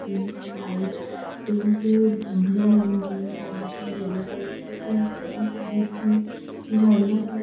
Pink है white pink blue and green colour की yellow colour की एंड गार्डन के बीच मे झरना लगा हुआ है।